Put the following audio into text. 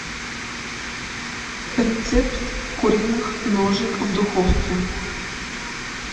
рецепт куриных ножек в духовке